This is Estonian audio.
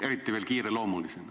Eriti veel kiireloomulisena.